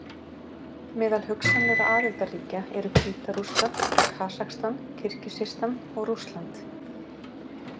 Meðal hugsanlegra aðildarríkja eru Hvíta-Rússland, Kasakstan, Kirgisistan og Rússland.